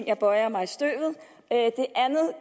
jeg bøjer mig i støvet